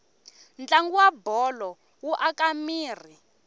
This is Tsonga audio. ntlangu wabholo wu aka miri